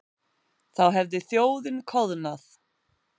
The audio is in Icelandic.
Þá hefði þjóðin koðnað.